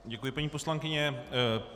Děkuji, paní poslankyně.